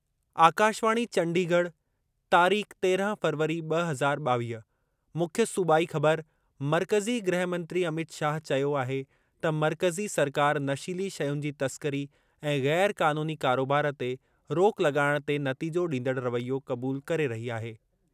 आकाशवाणी चंडीगढ़, तारीख़ तेरहं फ़रवरी ब॒ हज़ार ॿावीह, मुख्य सूबाई ख़बर, मर्कज़ी गृह मंत्री अमित शाह चयो आहे त मर्कज़ी सरकार नशीली शयुनि जी तस्करी ऐं ग़ैर क़ानूनी कारोबार ते रोक लॻाइणु ते नतीजो ॾींदड़ु रवैयो क़बूलु करे रही आहे।